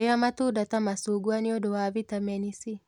rĩa matunda ta macungwa nĩũndũ wa vitamin C